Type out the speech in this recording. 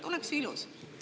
Oleks ju ilus?